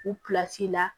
U la